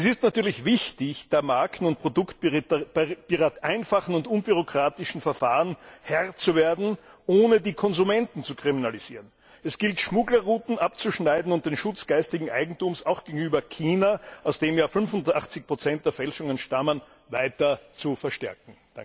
Es ist natürlich wichtig, der Marken und Produktpiraterie mit einfachen und unbürokratischen Verfahren Herr zu werden, ohne die Konsumenten zu kriminalisieren. Es gilt, Schmugglerrouten abzuschneiden und den Schutz geistigen Eigentums auch gegenüber China, woher ja 85 der Fälschungen stammen, weiter zu verstärken.